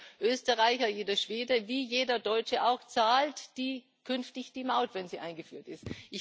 Also jeder Österreicher, jeder Schwede, auch jeder Deutsche zahlt künftig die Maut, wenn sie eingeführt ist.